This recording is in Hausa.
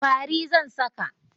Fari zan saka.